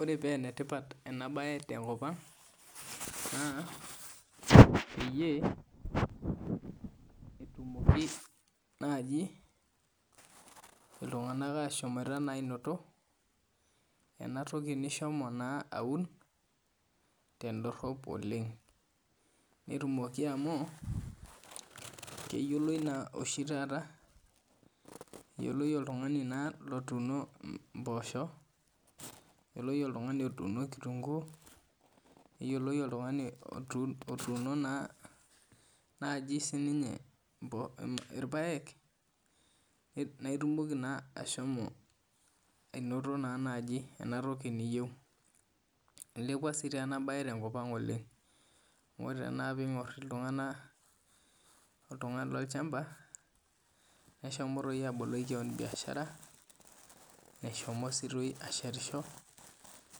Ore pee enetipat ena mbae tenkop ang pee etumoki naaji iltung'ana ahom anoto enatoki nihomo aun tedorop oleng netumoki amu keyioloi oshi taata oltung'ani otuno mboshok neyiolou oltung'ani otuno kitunguu neyiolou oltung'ani otuno naaji sininye irpaek naitumoki naa naaji ahomo anoto entoki niyieu eilepua sii ena mbae tenkop ang oleng amu ore tenakata pingor oltung'ani lolchamba mehomo aboliki kewon biashara meshomo sii ashetisho